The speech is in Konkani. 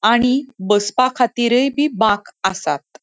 आणि बसपा खातीरय बी बाक आसात.